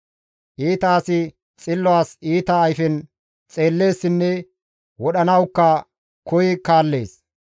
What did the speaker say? Iita asi xillo as iita ayfen xeelleessinne wodhanawukka koyi kaallees.